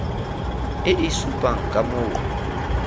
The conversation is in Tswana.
e e supang ka moo